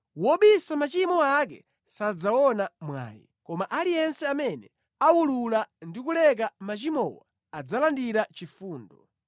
Wobisa machimo ake sadzaona mwayi, koma aliyense amene awulula ndi kuleka machimowo, adzalandira chifundo.